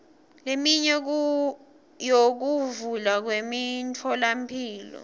leminye yokuvulwa kwemitfolamphilo